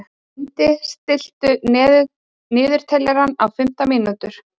Lundi, stilltu niðurteljara á fimmtán mínútur.